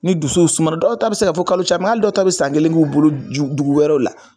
Ni dusu sumaworo dɔw ta bɛ se kaa fɔ kalo caman min dɔw ta bɛ san kelen k' bolo dugu wɛrɛ la